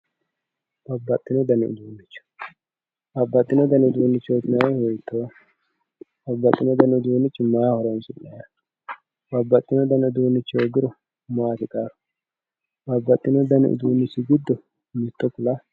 Babbaxxino dani uduuncho, babbaxxino dani uduunchoti yinannihu hiittoho, babbaxxino dani uduunchi maaho horonsi'nanniho ,babbaxewo dani uduunchi hoogiro maati qarru, babbaxxino dani uduunchi giddo mitto ku'latto ?